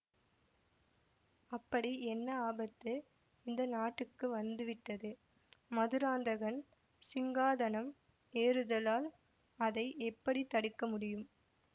அப்படி என்ன ஆபத்து இந்த நாட்டுக்கு வந்துவிட்டது மதுராந்தகன் சிங்காதனம் ஏறுததால் அதை எப்படி தடுக்க முடியும்